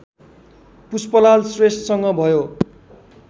पुष्पलाल श्रेष्ठसँग भयो